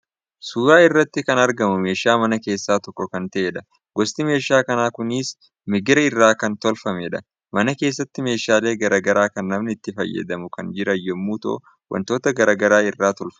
Suuraa irratti kan argamu meeshaa manaa keessaa tokko kan ta'edha. Gosti meeshaa manaa kunis migira irraa kan tolfamedha. Mana keessatti meeshaalee gara garaa kan namni itti fayyadamu kan jiran yommuu ta'u wantoota gara garaa irraa tolfamu.